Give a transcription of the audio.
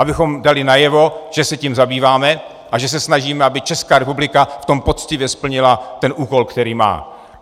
Abychom dali najevo, že se tím zabýváme a že se snažíme, aby Česká republika v tom poctivě splnila ten úkol, který má.